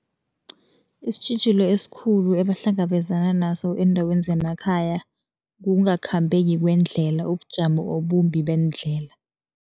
Isitjhijilo esikhulu ebahlangabezana naso eendaweni zemakhaya, kungakhambeki kwendlela, ubujamo obumbi beendlela.